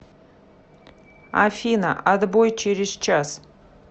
афина отбой через час